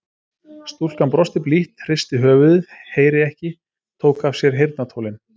Stúlkan brosti blítt, hristi höfuðið, heyri ekki, tók af sér heyrnartólin.